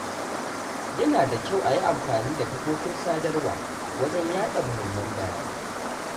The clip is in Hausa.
Yana da kyau a yi amfani da kafofin sadarwa wajen yaɗa mahimman bayanai.